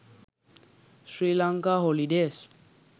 srilanka holidays